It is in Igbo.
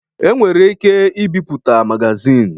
E nwere ike ibipụta magazini.